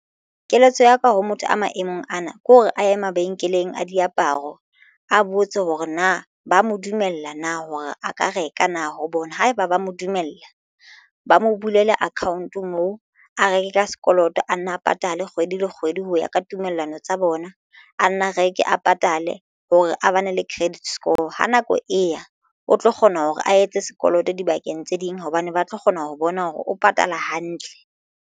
Keletso ya ka ho motho a maemong ana ke hore a ye mabenkeleng a diaparo a botse hore na ba mo dumella na hore a ka reka na ho bona haeba ba mo dumella ba mo bulele account moo a reke ka sekolong a nna a patale kgwedi le kgwedi ho ya ka tumellano tsa bona. nna reke a patale hore a bane le credit score Ha nako e ya o tlo kgona hore a etse sekoloto dibakeng tse ding hobane ba tlo kgona ho bona hore o patala hantle.